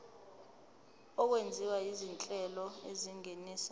okwenziwa izinhlelo ezingenisa